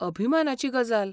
अभिमानाची गजाल.